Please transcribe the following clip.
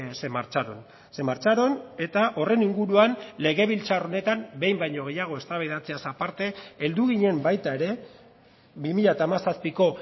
se marcharon se marcharon eta horren inguruan legebiltzar honetan behin baino gehiago eztabaidatzeaz aparte heldu ginen baita ere bi mila hamazazpiko